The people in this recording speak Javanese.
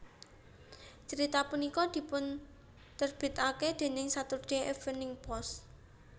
Carita punika dipunterbitaken déning Saturday Evening Post